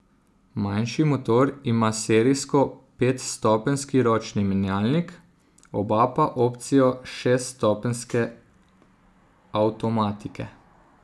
Manjši motor ima serijsko petstopenjski ročni menjalnik, oba pa opcijo šeststopenjske avtomatike.